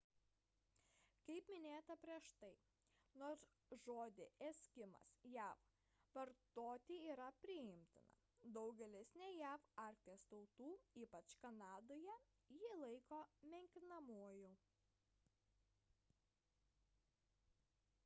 kaip minėta prieš tai nors žodį eskimas jav vartoti yra priimtina daugelis ne jav arkties tautų ypač kanadoje jį laiko menkinamuoju